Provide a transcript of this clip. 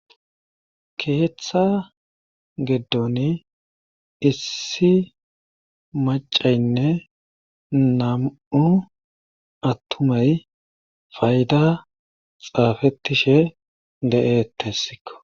Keeththa geddon issi macaynne nam7u attumay fayda xaafettishe de7ethessikko